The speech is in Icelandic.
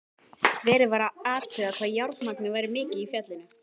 Verið var að athuga hvað járnmagnið væri mikið í fjallinu.